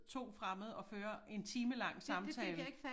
2 fremmede og føre en timelang samtale